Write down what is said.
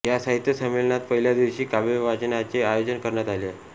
या साहित्य संमेलनात पहिल्या दिवशी काव्यवाचनाचे आयोजन करण्यात आले होते